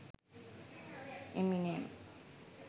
eminem